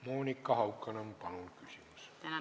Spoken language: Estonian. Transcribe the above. Monika Haukanõmm, palun!